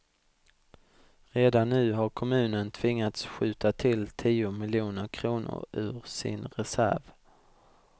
Redan nu har kommunen tvingats skjuta till tio miljoner kronor ur sin reserv.